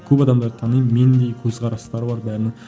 көп адамдарды танимын мендей көзқарастары бар бәрінің